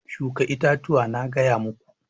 Shuka itatuwa na gaya muku!